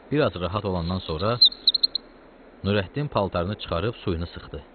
Bir az rahat olandan sonra Nurəddin paltarını çıxarıb suyunu sıxdı.